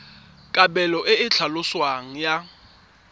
kabelo e e tlhaloswang ya